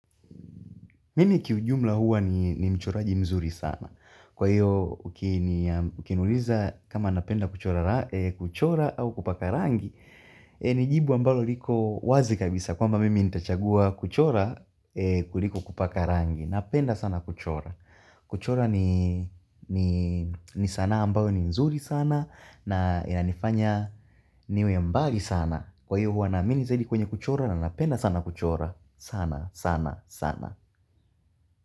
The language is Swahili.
Mimi kiujumla huwa ni mchoraji mzuri sana. Kwa hiyo ukiniuliza kama napenda kuchora au kupaka rangi, ni jibu ambalo liko wazi kabisa. Kwamba mimi nitachagua kuchora kuliko kupaka rangi. Napenda sana kuchora. Kuchora ni sanaa ambayo ni mzuri sana na inanifanya niwe mbali sana. Kwa hivyo huwa naamini zaidi kwenye kuchora na napenda sana kuchora. Sana, sana, sana.